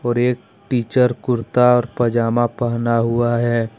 और एक टीचर कुर्ता और पजामा पहना हुआ है।